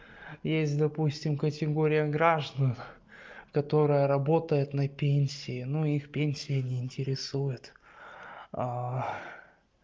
есть допустим категория граждан которая работает на пенсии но их пенсия не интересует